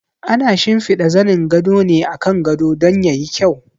Ana shimfiɗa zanin gado ne akan gado don ya yi kyau.